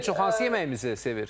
Ən çox hansı yeməyimizi sevir?